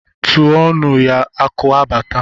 Tuo nụ ya akụ abata!